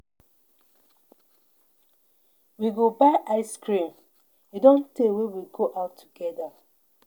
We go buy ice cream. E Don tey wey we go out together.